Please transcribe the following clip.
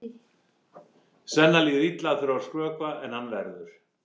Svenna líður illa að þurfa að skrökva en hann verður!